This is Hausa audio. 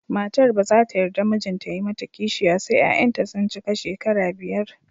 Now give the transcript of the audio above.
Matar ba za ta yarda mijinta ya yi mata kishiya sai 'ya'yanta sun cika shekara biyar